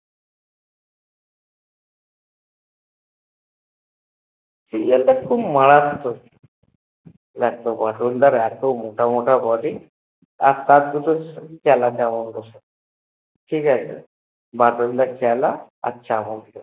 Serial টা খুব মারততক লাগতো তো বাটুল দার এত মোটা মোটা Body আর দুটো চেলা চামুণ্ডা সব ঠিকাছে বাটুল দার চেলা আর চামুণ্ডা